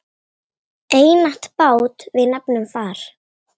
Einatt bát við nefnum far.